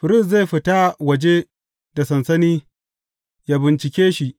Firist zai fita waje da sansani ya bincike shi.